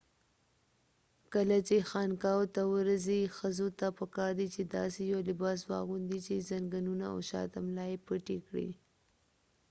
کله چې خانقاوو ته ورځئ ښخو ته پکار دي چې داسې یو لباس واغوندي چې ځنګنونه او شاته ملا یې پټې کړي